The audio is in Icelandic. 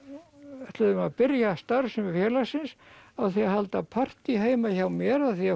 við ætluðum að byrja starfsemi félagsins á því að halda partý heima hjá mér af því